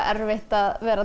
erfitt að vera